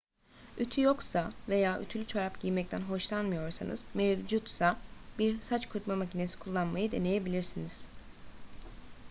ütü yoksa veya ütülü çorap giymekten hoşlanmıyorsanız mevcutsa bir saç kurutma makinesi kullanmayı deneyebilirsiniz